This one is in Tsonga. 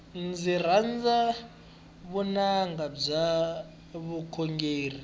ndzi rhandza vunanga bya vukhongeri